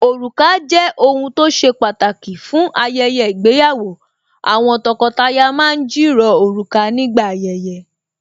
Òrùka jẹ́ ohun tó ṣe pàtàkì fún ayẹyẹ ìgbéyàwó Àwọn tọkọtaya ma ń jìrọ̀ òrùka nígbà ayẹyẹ